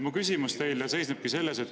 Mu küsimus teile seisnebki selles.